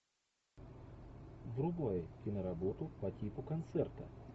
врубай киноработу по типу концерта